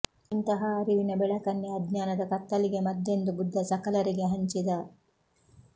ಇಂತಹ ಅರಿವಿನ ಬೆಳಕನ್ನೇ ಅಜ್ಞಾನದ ಕತ್ತಲಿಗೆ ಮದ್ದೆಂದು ಬುದ್ಧ ಸಕಲರಿಗೆ ಹಂಚಿದ